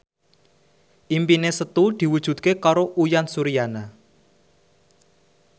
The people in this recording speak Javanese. impine Setu diwujudke karo Uyan Suryana